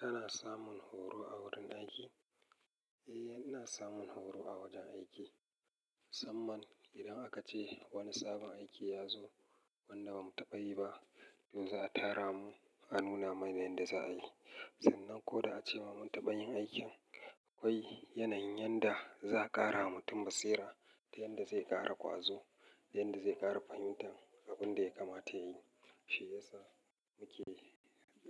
Kana samun horo a wurin aiki? Eh, ina samun horo a wajen aiki. Musamman idan aka ce wani sabon aiki ya zo wanda ba mu taɓa yi ba, to za a tara mu a nuna mana yanda za a yi. Sannan ko da a ce wa mun taɓa yin aikin, akwai yanayin yanda za a ƙara wa mutum basira da yanda zai ƙara ƙwazo, da yanda zai ƙara fahimtan abun da ya kamata yayi. Shi ya sa muke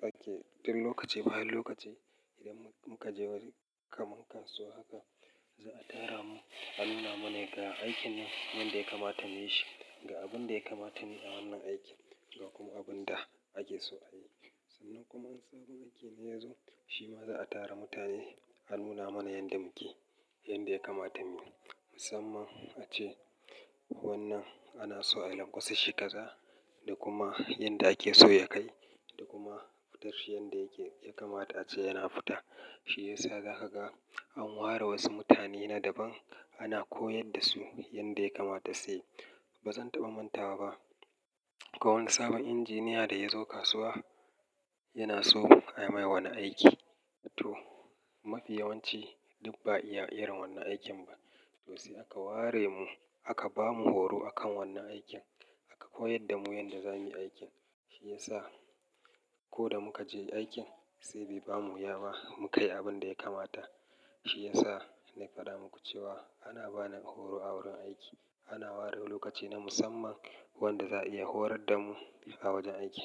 ɗake, din lokaci bayan lokaci idan muka je wani kamun kasuwa haka, za a tara mu a nuna mana ga aikin nan yanda ya kamata muyi shi, ga abun da ya kamata ne a wannan aiki ga kuma abun da ake so a yi. Sannan kuma in sabon aiki ne ya zo, shi ma za a tara mutane a nuna mana yanda muke, yanda ya kamata muyi. Musamman ace wannan ana so a lamƙwase kaza da kuma yanda ake so ya kai da kuma fitar shi yanda yake, ya kamata ace yana fita. Shi ya sa za ka ga an ware wasu mutane na daban ana koyar da su yanda ya kamata su yi. Ba zan taɓa mantawa ba, ko wani sabon injiniya da ya zo kasuwa yana so a mai wani aiki. To mafi yawanci duk ba ya iya irin wannan aikin ba. To sai aka ware mu aka ba mu horo akan wannan aikin, aka koyar da mu yanda za muyi aikin. Shi ya sa ko da muka je aikin sai bai bamu wuya ba muka yi abin da ya kamata. Shi ya sa na faɗa muku cewa ana bani horo a wurin aiki. Ana ware lokaci na musamman wanda za'a iya horar da mu a wajen aiki.